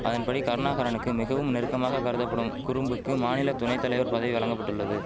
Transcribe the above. அதன்படி கருணாகரனுக்கு மிகவும் நெருக்கமாக கருதபடும் குறும்புக்கு மாநில துணைதலைவர் பதவி வழங்கபட்டுள்ளது